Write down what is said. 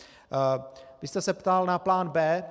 Vy jste se ptal na plán B.